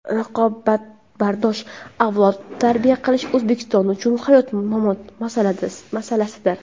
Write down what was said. Raqobatbardosh avlod tarbiya qilish O‘zbekiston uchun hayot-mamot masalasidir.